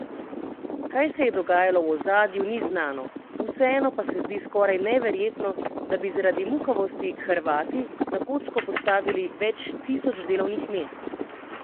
Kaj se je dogajalo v ozadju, ni znano, vseeno pa se zdi skoraj neverjetno, da bi zaradi muhavosti Hrvati na kocko postavili več tisoč delovnih mest.